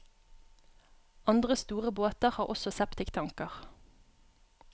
Andre store båter har også septiktanker.